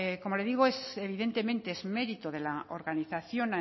como le digo evidentemente es mérito de la organización